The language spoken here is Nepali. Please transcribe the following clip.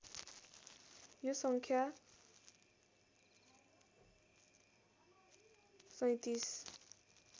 यो सङ्ख्या ३७